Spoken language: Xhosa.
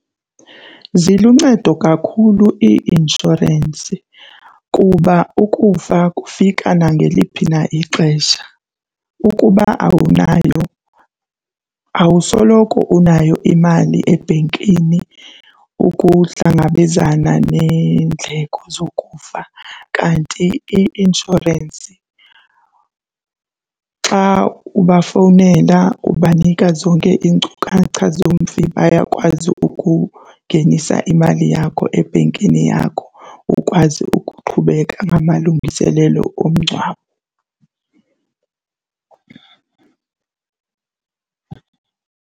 Ziluncedo kakhulu ii-inshorensi kuba ukufa kufika nangeliphi na ixesha. Ukuba awunayo awusoloko unayo imali ebhenkini ukuhlangabezana neendleko zokufa. Kanti i-inshorensi xa ubafowunela ubanika zonke iinkcukacha zomfi, bayakwazi ukungenisa imali yakho ebhenkini yakho ukwazi ukuqhubeka amalungiselelo omngcwabo.